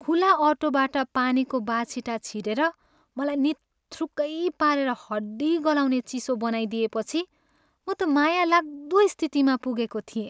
खुला अटोबाट पानीको बाछिटा छिरेर मलाई निथ्रुक्कै पारेर हड्डी गलाउने चिसो बनाइदिएपछि म त माया लाग्दो स्थितिमा पुगेको थिएँ।